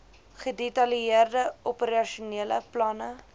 gedetailleerde operasionele planne